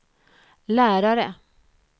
lärare